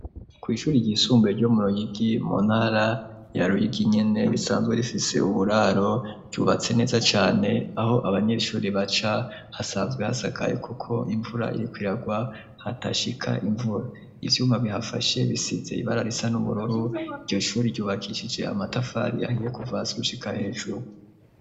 Kw'ishuri ryisumbuye ryo muruyigi monara ya ruyigi inyene risanzwe rifise uburaro ryubatse neza cane aho abanyeshuri baca hasanzwe hasagaye, kuko imvura irikwiragwa hata shika imvura ivyuma bihafashe bisize ibara risa n'umuroru iryo shuri ryubakishije amatafari yahiye kuvaswa shika hecu.